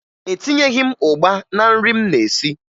Etinyeghi m ụgba na nri m na-esi